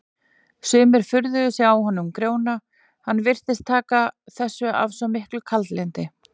Sumir furðuðu sig á honum Grjóna, hann virtist taka þessu af svo miklu kaldlyndi.